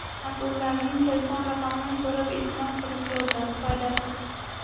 Mas’ullarning telefon raqamini so‘rab iltimos qilib ko‘rdim, foydasiz.